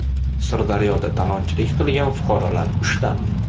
Sirdaryoda talonchilik qilgan fuqarolar ushlandi.